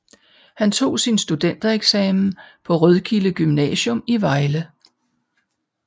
Han tog sin studentereksamen på Rødkilde Gymnasium i Vejle